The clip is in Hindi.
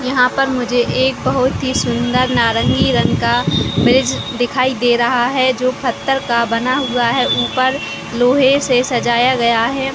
यहाँ पर मुझे एक बहुत ही सुन्दर नारंगी रंग का ब्रिज दिखाई दे रहा है जो पत्थर का बना हुआ है ऊपर लोहै से सजाया गया है।